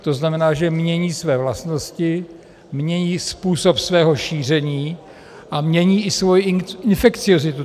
To znamená, že mění své vlastnosti, mění způsob svého šíření a mění i svoji infekciozitu.